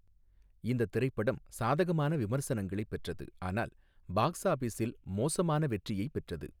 இந்த திரைப்படம் சாதகமான விமர்சனங்களைப் பெற்றது, ஆனால் பாக்ஸ் ஆஃபிஸில் மோசமான வெற்றியைப் பெற்றது.